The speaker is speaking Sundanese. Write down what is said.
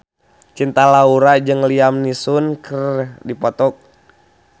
Cinta Laura jeung Liam Neeson keur dipoto ku wartawan